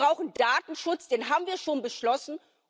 Wir brauchen Datenschutz den haben wir schon beschlossen.